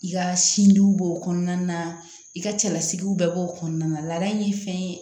I ka sinjiw b'o kɔnɔna na i ka cɛlasigiw bɛɛ b'o kɔnɔna na laada in ye fɛn ye